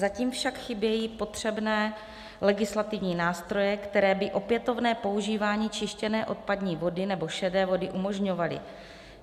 Zatím však chybějí potřebné legislativní nástroje, které by opětovné používání čištěné odpadní vody nebo šedé vody umožňovaly.